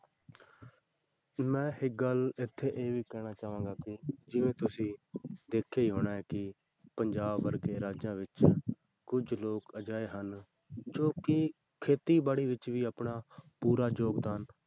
ਮੈਂ ਇੱਕ ਗੱਲ ਇੱਥੇ ਇਹ ਵੀ ਕਹਿਣਾ ਚਾਹਾਂਗਾ ਕਿ ਜਿਵੇਂ ਤੁਸੀਂ ਦੇਖਿਆ ਹੀ ਹੋਣਾ ਹੈ ਕਿ ਪੰਜਾਬ ਵਰਗੇ ਰਾਜਾਂ ਵਿੱਚ ਕੁੱਝ ਲੋਕ ਅਜਿਹੇ ਹਨ ਜੋ ਕਿ ਖੇਤੀਬਾੜੀ ਵਿੱਚ ਵੀ ਆਪਣਾ ਪੂਰਾ ਯੋਗਦਾਨ